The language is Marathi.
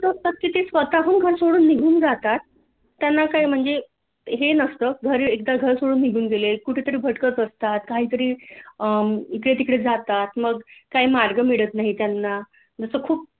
अशी असतात की ती स्वतः हून घर सोडून निघून जातात त्यांना काय म्हणजे हे नसत एकतर घर सोडून निघून गेले कुठेतरी भटकत असतात काहीतरी इकडे तिकडे जातात मग काही मार्ग मिळत नाही त्यांना मग असं खूप